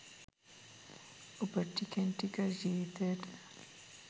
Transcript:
ඔබ ටිකෙන් ටික ජීවිතයට